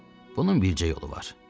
Bunun bircə yolu var.